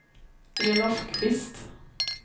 Elof Kvist